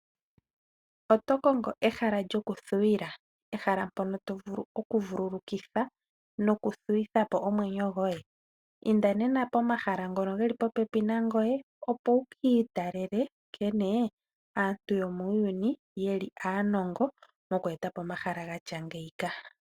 Oto kongo ehala lyoku thuwila, ehala mpono tovulu oku vululukila noku thuwitha po omwenyo goye? Inda nena pomahala ngono geli popepi nangoye , opo wu kiitalele nkene aantu yomuuyuni yeli aanongo moku eta po omahala gatya ngeyika.